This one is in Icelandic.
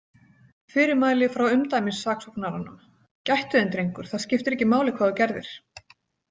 Fyrirmæli frá umdæmissaksóknaranum: Gættu þín, drengur, það skiptir ekki máli hvað þú gerðir.